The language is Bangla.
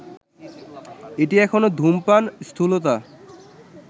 এটি এখনো ধূমপান, স্থূলতা